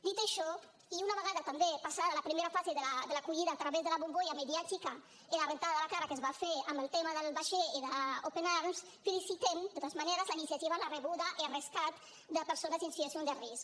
dit això i una vegada també passada la primera fase de l’acollida a través de la bombolla mediàtica i de rentada de cara que es va fer amb el tema del vaixell i d’open arms felicitem de totes maneres la iniciativa la rebuda i el rescat de persones en situació de risc